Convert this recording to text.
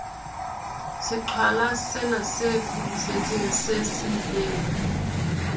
seqhwalasena se pudufetseng se siileng